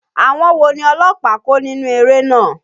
Àwọn wo ni ọlọ́pàá kó nínú eré náà?